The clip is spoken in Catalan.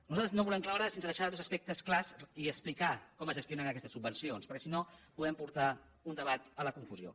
nosaltres no volem cloure sense deixar dos aspectes clars i explicar com es gestionen aquestes subvencions perquè si no podem portar un debat a la confusió